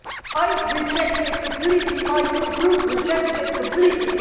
I reject it completely, my Group rejects it completely.